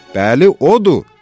Bəli, odur, dedi.